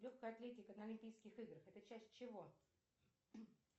легкая атлетика на олимпийских играх это часть чего